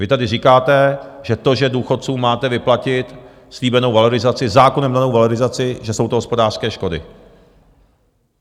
Vy tady říkáte, že to, že důchodcům máte vyplatit slíbenou valorizaci, zákonem danou valorizaci, že jsou to hospodářské škody.